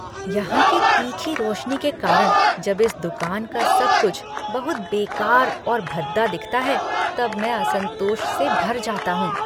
यहाँ की तीखी रोशनी के कारण जब इस दुकान का सब कुछ बहुत बेकार और भद्दा दिखता है तब मैं असंतोष से भर जाता हूँ।